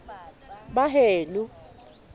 baheno